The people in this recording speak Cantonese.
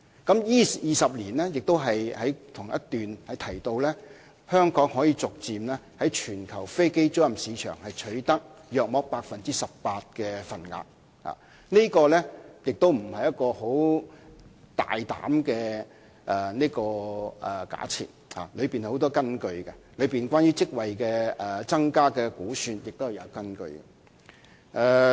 同一段亦提及，在這20年間，香港可以逐漸在全球飛機租賃市場取得約 18% 的份額，這並非大膽的假設，而是有所依據，至於有關職位增加的估算，亦是有根據的。